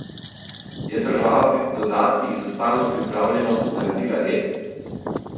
Je država pri dodatkih za stalno pripravljenost naredila red?